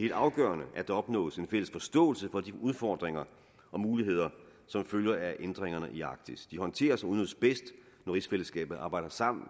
helt afgørende at der opnås en fælles forståelse for de udfordringer og muligheder som følger af ændringerne i arktis de håndteres og udnyttes bedst når rigsfællesskabet arbejder sammen